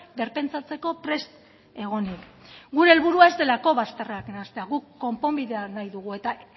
berpentsatzeko prest egonik gure helburua ez delako bazterrak nahastea guk konponbidea nahi dugu eta